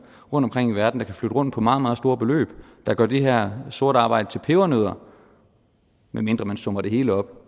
rundtomkring i verden der kan flytte rundt på meget meget store beløb der gør det her sorte arbejde til pebernødder medmindre man summer det hele op